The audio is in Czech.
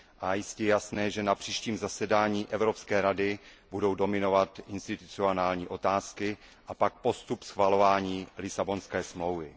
Je jistě jasné, že na příštím zasedání Evropské rady budou dominovat institucionální otázky a pak postup schvalování Lisabonské smlouvy.